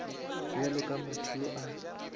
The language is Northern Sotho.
bjalo ka motho yo a